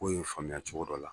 K'o y'o faamuya cogo dɔ la.